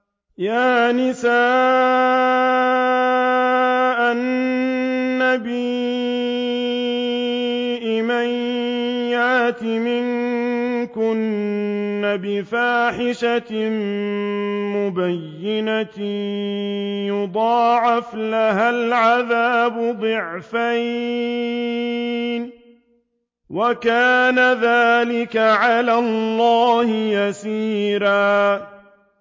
يَا نِسَاءَ النَّبِيِّ مَن يَأْتِ مِنكُنَّ بِفَاحِشَةٍ مُّبَيِّنَةٍ يُضَاعَفْ لَهَا الْعَذَابُ ضِعْفَيْنِ ۚ وَكَانَ ذَٰلِكَ عَلَى اللَّهِ يَسِيرًا